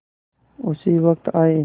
उसी वक्त आये